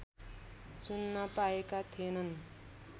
सुन्न पाएका थिएनन्